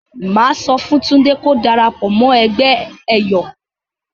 Mà á sọ fún Túndé ko darapọ̀ mọ́ ẹgbẹ́ ẹ̀yọ̀.